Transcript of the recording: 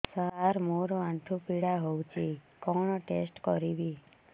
ସାର ମୋର ଆଣ୍ଠୁ ପୀଡା ହଉଚି କଣ ଟେଷ୍ଟ କରିବି